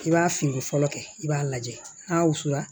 I b'a fini fɔlɔ kɛ i b'a lajɛ n'a wusula